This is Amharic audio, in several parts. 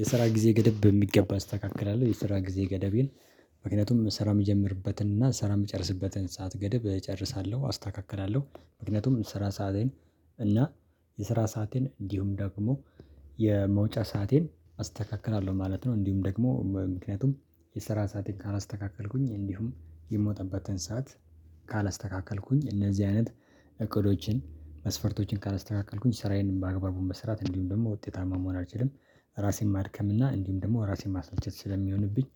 የስራ ጊዜ ገደብ በሚገባ አስተካክላለሁ። የስራ ጊዜ ገደቤን ምክንያቱም ስራ የምጀምርበትንን እና ስራ የምጨርስበትን ሰዓት ገደብ እጨርሳለሁ አስተካክላለሁ። ምክንያቱም ስራ ሰአቴን እና የስራ ሰአቴን እንዲሁም ደግሞ የመውጫ ሰአቴን አስተካክላለሁ ማለት ነው። እንዲሁም ደግሞ ምክንያቱም የሰራ ሰአቴን ካላስተካከልኩኝ እንዲሁም የምወጣበትን ሰዓት ካላስተካከልኩኝ እነዚህ አይነት እቅዶችን መስፈርቶችን ካላስተካከልኩኝ ስራዬን በአግባቡ መስራት እንዲሁም ደግሞ ውጤታማ መሆን አልችልም። ራሴን ማድከም እና እንዲሁም ደግሞ ራሴን ማስልቸት ስለሚሆንብኝ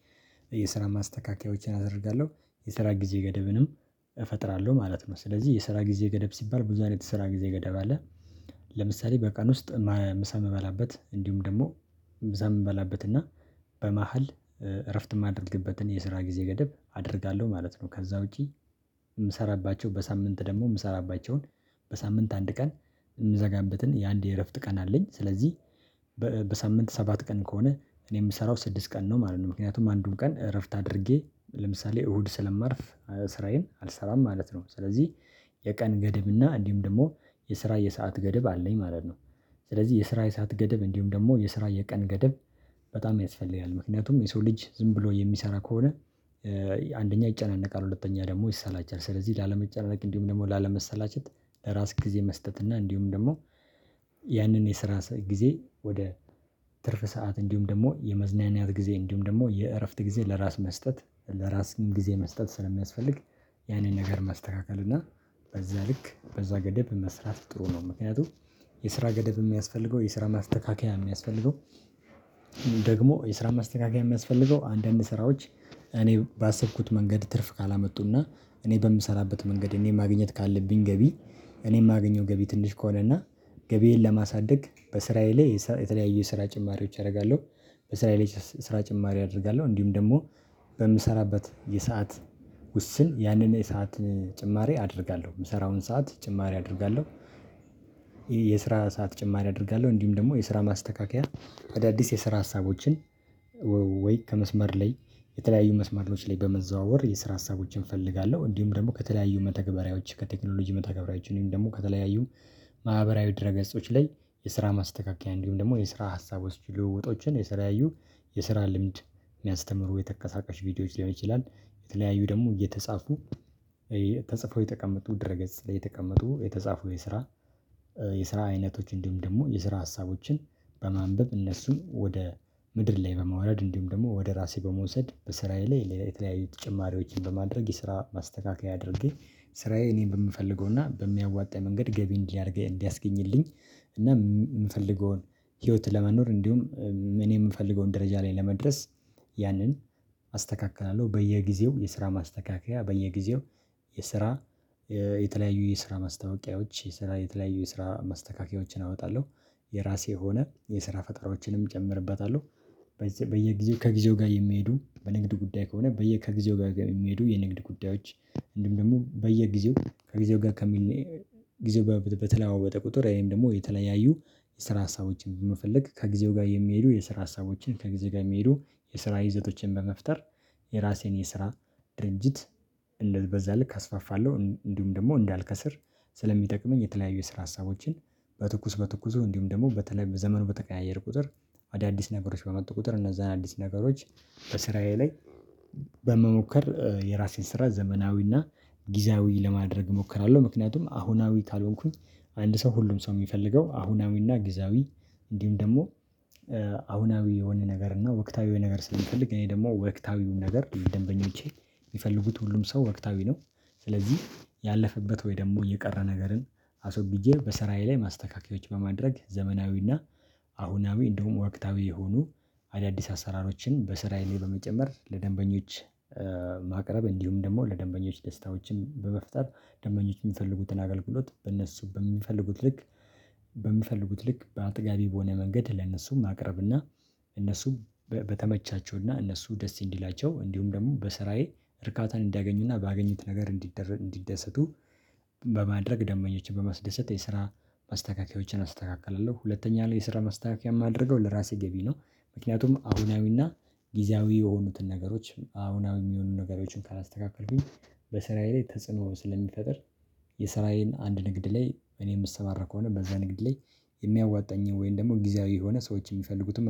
የስራ ማስተካከያዎችን አደርጋለሁ የስራ ጊዜ ገደብንም እፈጥራለሁ ማለት ነው። ስለዚህ የስራ ጊዜ ገደብ ሲባል ብዙ አይነት የስራ ጊዜ ገደብ አለ። ለምሳሌ በቀን ውስጥ ምሳ ምበላበት እንዲሁም ደግሞ ምሳ ምበላበትና በመሃል እረፍት ማደርግበትን የስራ ጊዜ ገደብ አደርጋለሁ ማለት ነው። ከዛ ውጪ የምሰራባቸው በሳምንት ደግሞ የምሰራባቸውን በሳምንት አንድ ቀን የምዘጋበትን የአንድ የእረፍት ቀን አለኝ። ስለዚህ በሳምንት ሰባት ቀን ከሆነ እኔ የምሰራው ስድስት ቀን ነው ማለት ነው። ምክንያቱም አንዱን ቀን እረፍት አድርጌ ለምሳሌ እሁድ ስለማርፍ ስራዬን አልሰራም ማለት ነው። ስለዚህ የቀን ገደብና እንዲሁም ደግሞ የስራ የሰዓት ገደብ አለኝ ማለት ነው። ስለዚህ የስራ የሰዓት ገደብ እንዲሁም ደግሞ የስራ የቀን ገደብ በጣም ያስፈልጋል። ምክንያቱም የሰው ልጅ ዝም ብሎ የሚሰራ ከሆነ አንደኛ ይጨናነቃል ሁለተኛ ደግሞ ይሰላቻል ስለዚህ ላለመጨናነቅ እንዲሁም ደግሞ ላለመሰላቸት ለራስ ጊዜ መስጠት እና እንዲሁም ደግሞ ያንን የስራ ጊዜ ወደ ትርፍ ሰዓት እንዲሁም ደግሞ የመዝናኒያት ጊዜ እንዲሁም ደግሞ የእረፍት ጊዜ ለራስ መስጠት ለራስ ጊዜ መስጠት ስለሚያስፈልግ ያንን ነገር ማስተካከል እና በዛ ልክ በዛ ገደብ መስራት ጥሩ ነው። ምክንያቱም የስራ ገደብ የሚያስፈልገው የስራ ማስተካከያ የሚያስፈልገው ደግሞ የስራ ማስተካከያ የሚያስፈልገው አንዳንድ ስራዎች እኔ ባሰብኩት መንገድ ትርፍ ካላመጡና እኔ በምሰራበት መንገድ እኔ ማግኘት ካለብኝ ገቢ እኔ የማግኘው ገቢ ትንሽ ከሆነ እና ገቢዬን ለማሳደግ በስራዬ ላይ የተለያዩ የስራ ጭማሪዎች አደርጋለሁ። በስራዬ ላይ ስራ ጭማሪ አደርጋለሁ እንዲሁም ደግሞ በምሰራበት የሰዓት ውስን ያንን የሰዓት ጭማሪ አደርጋለሁ የምሰራውን ሰዓት ጭማሪ አደርጋለሁ። የስራ ሰዓት ጭማሪ አደርጋለሁ እንዲሁም ደግሞ የስራ ማስተካከያ በአዳዲስ የስራ ሀሳቦችን ወይ ከመስመር ላይ የተለያዩ መስመሮች ላይ በመዘዋወር የስራ ሀሳቦችን እፈልጋለሁ። እንዲሁም ደግሞ ከተለያዩ መተግበሪያዎች ከቴክኖሎጂ መተግበሪያዎች ወይም ደግሞ ከተለያዩ ማህበራዊ ድረ ገጾች ላይ የስራ ማስተካከያ እንዲሁም ደግሞ የስራ ሀሳቦች ልውውጦችን የተለያዩ የስራ ልምድ የሚያስተምሩ የተንቀሳቃሽ ቪዲዮዎች ሊሆን ይችላል የተለያዩ ደግሞ እየተጻፉ ተጽፈው የተቀመጡ ድረ ገጽ ላይ የተቀመጡ የተጻፉ የስራ የስራ አይነቶች እንዲሁም ደግሞ የስራ ሀሳቦችን በማንበብ እነሱን ወደ ምድር ላይ በማውረድ እንዲሁም ደግሞ ወደ ራሴ በመውሰድ በስራዬ ላይ የተለያዩ ተጨማሪዎችን በማድረግ የስራ ማስተካከያ አድርጌ ስራዬ እኔ በምፈልገውና በሚያዋጣኝ መንገድ ገቢ እንዲህ አድርገኝ እንዲያስገኝልኝ እና የምፈልገውን ህይወት ለመኖር እንዲሁም እኔ የምፈልገውን ደረጃ ላይ ለመድረስ ያንን አስተካክላለሁ በየጊዜው የስራ ማስተካከያ በየጊዜው የስራ የተለያዩ የስራ ማስታወቂያዎች የስራ የተለያዩ የስራ ማስተካከያዎችን አወጣለሁ። የራሴ የሆነ የስራ ፈጠራዎችንም እጨምርበታለሁ። በየጊዜው ከጊዜው ጋር የሚሄዱ በንግድ ጉዳይ ከሆነ በየ ከጊዜው ጋር የሚሄዱ የንግድ ጉዳዮች እንዲሁም ደግሞ በየጊዜው ከጊዜው ጋር ከሚል ጊዜው ጋር በተ በተለዋወጠ ቁጥር ወይም ደግሞ የተለያዩ የስራ ሀሳቦችን በመፈለግ ከጊዜው ጋር የሚሄዱ የስራ ሀሳቦችን ከጊዜው ጋር የሚሄዱ የስራ ይዘቶችን በመፍጠር የራሴን የስራ ድርጅት እንደ በዛ ልክ አስፋፋለሁ እንዲሁም ደግሞ እንዳልከስር ስለሚጠቅመኝ የተለያዩ የስራ ሀሳቦችን በትኩስ በትኩሱ እንዲሁም ደግሞ በተለይ ዘመኑ በተቀያየር ቁጥር አዳዲስ ነገሮች በመጡ ቁጥር እነዛ አዳዲስ ነገሮች በስራዬ ላይ በመሞከር የራሴን ስራ ዘመናዊና ጊዜያዊ ለማድረግ እሞክራለሁ። ምክንያቱም አሁናዊ ካልሆንኩኝ አንድ ሰው ሁሉም ሰው የሚፈልገው አሁናዊና ግዜያዊ እንዲሁም ደግሞ አሁናዊ የሆነ ነገር እና ወቅታዊ የሆነ ነገር ስንፈልግ እኔ ደግሞ ወቅታዊው ነገር ደንበኞቼ የሚፈልጉት ሁሉም ሰው ወቅታዊ ነው ስለዚህ ያለፈበት ወይ ደግሞ የቀረ ነገርን አሶግጄ በስራዬ ላይ ማስተካከያዎች በማድረግ ዘመናዊና አሁናዊ እንዲሁም ወቅታዊ የሆኑ አዳዲስ አሰራሮችን በስራዬ ላይ በመጨመር ለደንበኞች ማቅረብ እንዲሁም ደግሞ ለደንበኞች ደስታዎችን በመፍጠር ደንበኞች የሚፈልጉትን አገልግሎት በእነሱ በሚፈልጉት ልክ በሚፈልጉት ልክ በአጥጋቢ በሆነ መንገድ ለነሱም ማቅረብና እነሱም በተመቻቸውና እነሱ ደስ እንዲላቸው እንዲሁም ደግሞ በስራዬ እርካታን እንዲያገኙና ባገኙት ነገር እንዲ እንዲደሰቱ በማድረግ ደምበኞቼን በማስደሰት የስራ ማስተካከያዎችን አስተካክላለሁ ሁለተኛ ላይ የስራ ማስተካከያ የማደርገው ለራሴ ገቢ ነው። ምክንያቱም አሁናዊና ጊዜያዊ የሆኑትን ነገሮች አሁናዊ የሚሆኑ ነገሮችን ካላስተካከልኩኝ በስራዬ ላይ ተጽዕኖ ስለሚፈጥር የስራዬን አንድ ንግድ ላይ እኔ የምሰማራ ከሆነ በዛ ንግድ ላይ የሚያዋጣኝን ወይም ደግሞ ጊዜያዊ የሆነ ሰዎች የሚፈልጉትን